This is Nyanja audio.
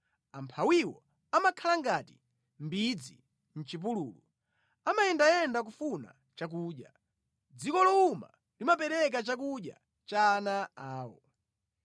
Amphawiwo amakhala ngati mbidzi mʼchipululu, amayendayenda kufuna chakudya; dziko lowuma limapereka chakudya cha ana awo.